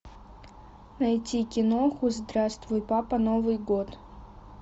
найти киноху здравствуй папа новый год